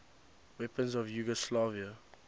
weapons of yugoslavia